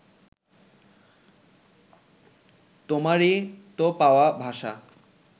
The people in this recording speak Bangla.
তোমারই তো পাওয়া ভাষা